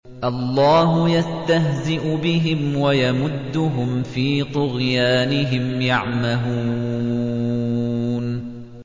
اللَّهُ يَسْتَهْزِئُ بِهِمْ وَيَمُدُّهُمْ فِي طُغْيَانِهِمْ يَعْمَهُونَ